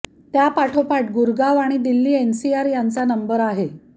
त्यापाठोपाठ गुरगाव आणि दिल्ली एनसीआर यांचा नंबर आहे